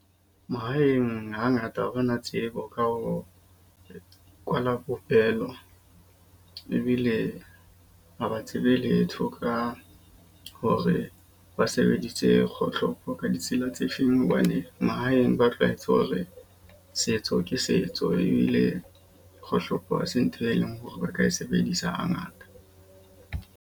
Mahaeng ha ngata ha re na tsebo ka ho kwala popelo. Ebile ha ba tsebe letho ka hore ba se bedise kgohlopo ka ditsela tse feng hobane mahaeng ba tlwaetse hore setso ke setso ebile kgohlopo hase ntho e leng hore ba ka e sebedisa ha ngata.